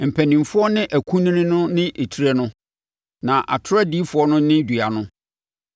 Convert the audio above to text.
mpanimfoɔ ne akunini no ne etire no, na atorɔ adiyifoɔ no ne dua no.